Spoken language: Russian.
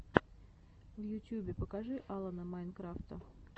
в ютьюбе покажи алана майнкрафта